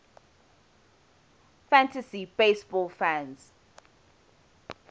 fantasy baseball fans